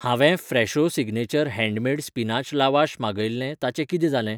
हांवें Fresho signature handmade spinach lavash मागयिल्लें ताचें कितें जालें?